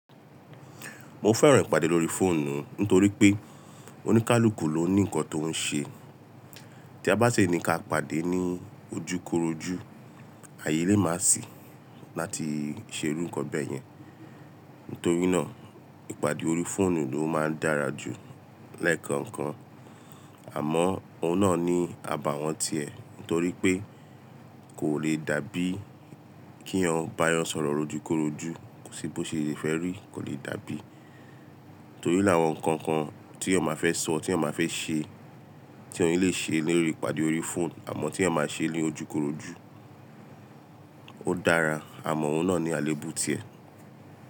Mo fẹ́ràn ìpàdé lórí fóònù nítorí pé oníkálukú ló ní nǹkan tó ń ṣe. Tí a bá ṣe ní ka pàdé ní ojúkorojú, ayé lè má sì láti ṣe irú nǹkan bẹ́ẹ̀ yẹn. Nítorínà ìpàdé lórí fóònù ló máa ń dára jù lẹ́ẹ̀kan kan, àmọ́ òun náà ní abàwọ́n ti ẹ̀ nítorí pé kò le dàbí kí eyan bá a yàn sọ̀rọ̀ lójúkorojú, kó si bo le ṣe fẹ́ rí, kò le dàbí. Nítorí láwọn nǹkan kan tí ẹyan máa fẹ́ sọ, tí ẹyan máa fẹ́ ṣe, tí ọ̀un lè ṣe lórí ìpàdé lórí fóònù àmọ́ tí ẹyan máa ṣe lójúkorojú ó dára, àmọ́ òun náà ní àléébù ti ẹ̀.